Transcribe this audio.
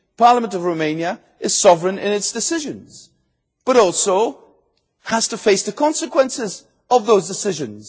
The Parliament of Romania is sovereign in its decisions, and it also has to face the consequences of those decisions.